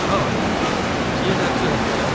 ହଁ, GNRC. Hospital.